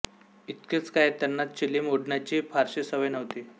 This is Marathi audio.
इतकेच काय त्यांना चिलीम ओढण्याचीही फारशी सवय नव्हती